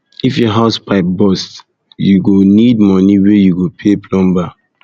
if your house pipe burst pipe burst you go need moni wey you go pay plumber